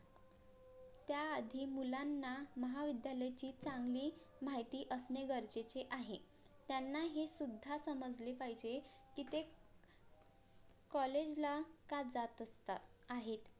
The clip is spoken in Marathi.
त्याआधी मुलांना महाविद्यालयाची चांगली माहिती असणे गरजेचे आहे त्यांना हे सुद्धा समजले पाहिजे की ते COLLAGE ला का जात असतात आहेत